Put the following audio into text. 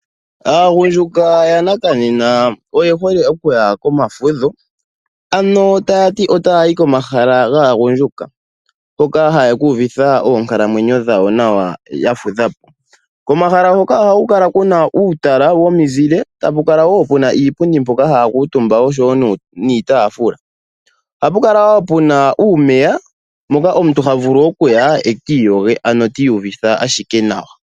Aagundjuka yanakanena oyehole okuya komafudho, ano tayati ota yayi komahala gaagundjuka hoka haye kuuvutha oonkalamwenyo dhawo nawa yafudhapo. Pomahala mpoka ohapu kala puna uutala wominzile etapu kala wo puna iipundi mpoka haya kuutumba oshowo iitafula, ohapu kala puna uumeya moka omuntu ta vulu okuya eki iyoge uuna uvite uupyu.